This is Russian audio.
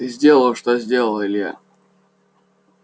ты сделал что сделал илья